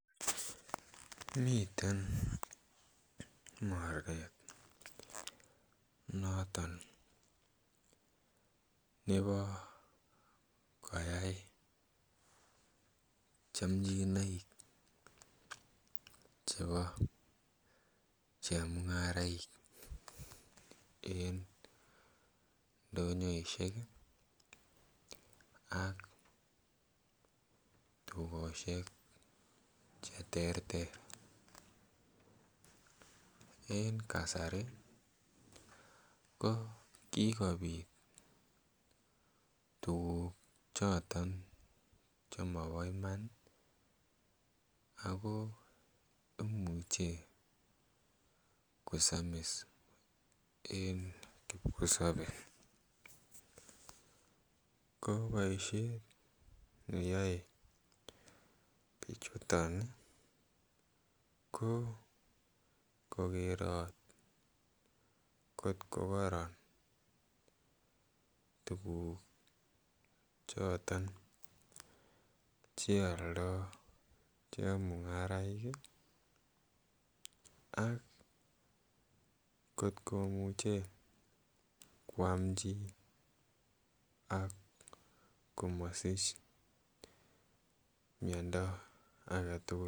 Miten oret noton nepo koyai chamchinaik chepo chemung'araik en ndonyoishek ak dukoshek che terter. En kasari ko kikopit tukuk choton che mopo iman ako imuchi kosamis en kipkosope. Ko poishet ne yaei pichuton ko kokerat kotko koron tukuk choton che aldai chemung'araek ak kotko muchi koam chi ak komasich miondo ake tukul.